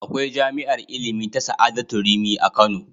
Akwai jami'ar ilimi ta Sa'adatu Rimi a Kano.